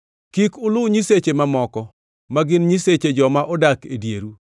Kik uluw nyiseche mamoko ma gin nyiseche joma odak e dieru;